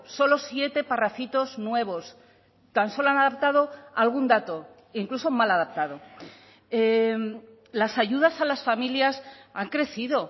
solo siete parrafitos nuevos tan solo han adaptado algún dato incluso mal adaptado las ayudas a las familias han crecido